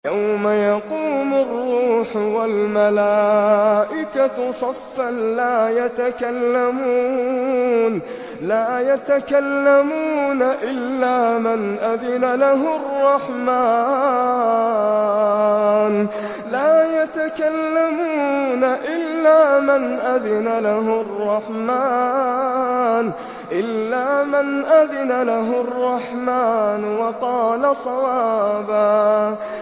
يَوْمَ يَقُومُ الرُّوحُ وَالْمَلَائِكَةُ صَفًّا ۖ لَّا يَتَكَلَّمُونَ إِلَّا مَنْ أَذِنَ لَهُ الرَّحْمَٰنُ وَقَالَ صَوَابًا